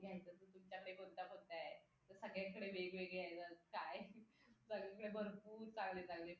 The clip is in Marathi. सगळ्यांकडे वेगवेगळे आहेत काय सगळ्यांकडे भरपूर चांगले चांगले